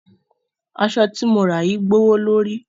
Aṣọ ti mo rà yìí gbówó lóri.